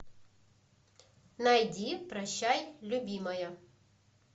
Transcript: найди прощай любимая